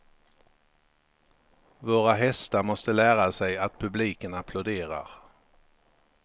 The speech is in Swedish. Våra hästar måste lära sig att publiken applåderar.